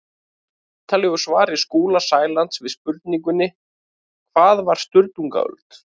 Í ítarlegu svari Skúla Sælands við spurningunni Hvað var Sturlungaöld?